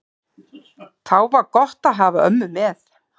Þá var gott að hafa ömmu með.